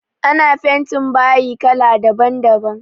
Ana fentin bayi kala daban daban